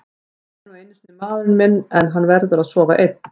Hann er nú einu sinni maðurinn minn en hann verður að sofa einn.